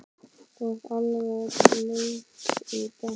þú ert alveg blaut í gegn!